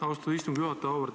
Austatud istungi juhataja!